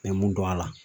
N bɛ mun dɔn a la